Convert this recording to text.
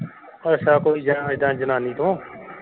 ਅੱਛਾ ਕੋਈ ਜਨਾਨੀ ਤੋਂ।